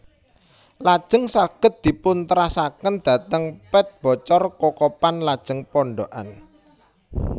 Lajeng saged dipun terasaken dhateng Pet Bocor Kokopan lajeng Pondokan